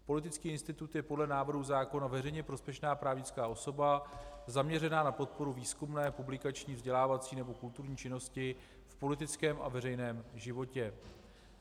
Politický institut je podle návrhu zákona veřejně prospěšná právnická osoba zaměřená na podporu výzkumné, publikační, vzdělávací nebo kulturní činnosti v politickém a veřejném životě.